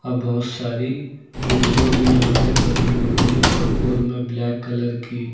और बहोत सारी विंडो भी यहां पे बनी हुई हैं चौकोर में ब्लैक कलर की।